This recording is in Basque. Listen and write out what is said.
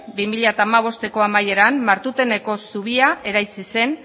bi mila hamabosteko amaieran martuteneko zubia eraiki zen